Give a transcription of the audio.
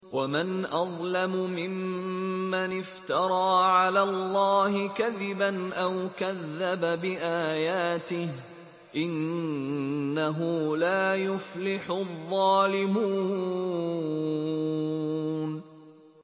وَمَنْ أَظْلَمُ مِمَّنِ افْتَرَىٰ عَلَى اللَّهِ كَذِبًا أَوْ كَذَّبَ بِآيَاتِهِ ۗ إِنَّهُ لَا يُفْلِحُ الظَّالِمُونَ